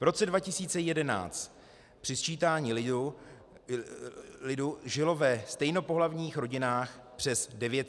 V roce 2011 při sčítání lidu žilo ve stejnopohlavních rodinách přes 900 dětí.